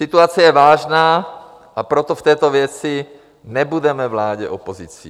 Situace je vážná, a proto v této věci nebudeme vládě opozicí.